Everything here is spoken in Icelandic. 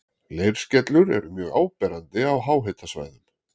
leirskellur eru mjög áberandi á háhitasvæðum